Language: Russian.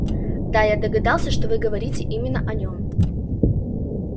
да я догадался что вы говорите именно о нём